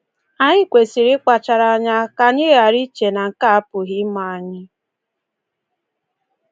Anyị kwesịrị ịkpachara anya ka anyị ghara iche na nke a apụghị ime anyị.